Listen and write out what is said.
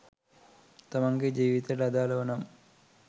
තමන්ගෙ ජීවිතයට අදාලව නම්